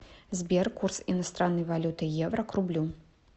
сбер курс иностранной валюты евро к рублю